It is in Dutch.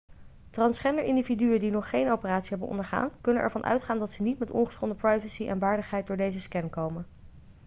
transgender individuen die nog geen operatie hebben ondergaan kunnen ervan uitgaan dat ze niet met ongeschonden privacy en waardigheid door deze scan komen